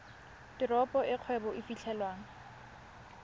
teropo e kgwebo e fitlhelwang